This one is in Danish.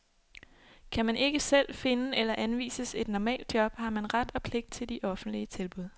Kan man ikke selv finde eller anvises et normalt job, har man ret og pligt til de offentlige tilbud.